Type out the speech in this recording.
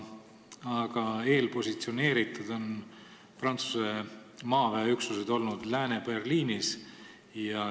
Aga eelpositsioneeritud on Prantsuse maaväeüksused olnud Lääne-Berliinis.